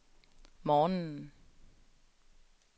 morgenen